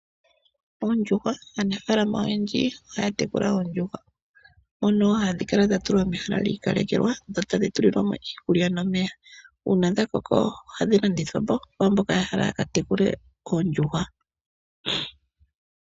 Ondjuhwa Aanafaalama oyendji ohaya tekula oondjuhwa, mono hadhi kala dha tulwa mehala lyi ikalekelwa, dho tadhi tulilwa mo iikulya nomeya. Uuna dha koko ohadhi landithwa po, kwaamboka ya hala ya ka tekule oondjuhwa.